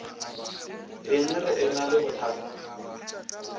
eng re ena le bothata